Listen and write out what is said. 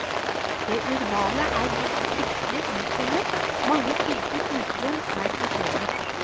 Det urbane er blitt fryktelig uttynnet, mange typer uterom er forsvunnet.